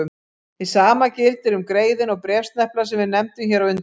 Hið sama gildir um greiðuna og bréfsneplana sem við nefndum hér á undan.